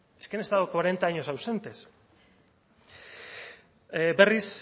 es que han estado cuarenta años ausentes berriz